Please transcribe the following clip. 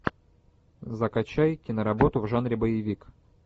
закачай киноработу в жанре боевик